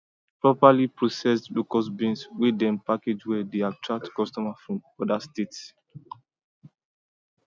properly processed locust beans wey dem package well dey attract customers from other states